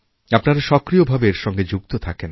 আপনারা সক্রিয়ভাবে এর সঙ্গে যুক্ত থাকেন